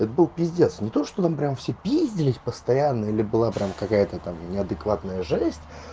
это был пиздец не то что там прямо все пиздились постоянно или была прямо какая-то там неадекватная жесть